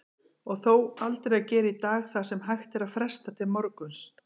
Og þó, aldrei að gera í dag það sem hægt er að fresta til morguns.